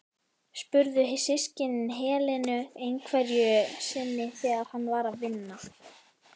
spurðu systkinin Helenu einhverju sinni þegar hann var að vinna.